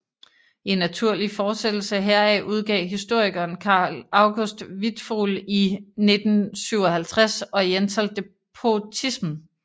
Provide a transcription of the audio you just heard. I naturlig forsættelse heraf udgav historikeren Karl August Wittfogel i 1957 Oriental despotism